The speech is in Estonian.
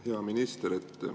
Hea minister!